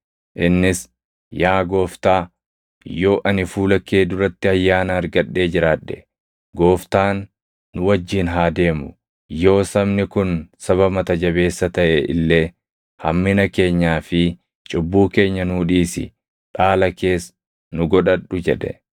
Innis, “Yaa Gooftaa, yoo ani fuula kee duratti ayyaana argadhee jiraadhe, Gooftaan nu wajjin haa deemu. Yoo sabni kun saba mata jabeessa taʼe illee hammina keenyaa fi cubbuu keenya nuu dhiisi; dhaala kees nu godhadhu” jedhe.